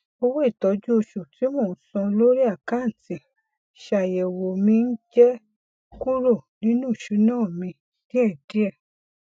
owó ìtọju oṣù tí mo ń san lórí àkántì ṣàyẹwò mi ń jẹ kúrò nínú ìsúná mi díẹ díẹ